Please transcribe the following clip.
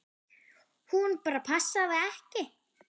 Hún bara passaði ekki.